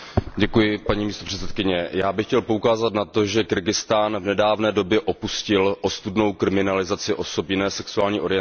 Paní předsedající, já bych chtěl poukázat na to, že Kyrgyzstán v nedávné době opustil ostudnou kriminalizaci osob jiné sexuální orientace.